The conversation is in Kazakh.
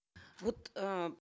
вот э